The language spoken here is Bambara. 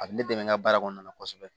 A bɛ ne dɛmɛ n ka baara kɔnɔna na kosɛbɛ